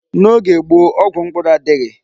N'oge gboo, ọgwụ mkpụrụ adịghị.